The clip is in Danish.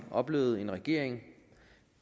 oplevede en regering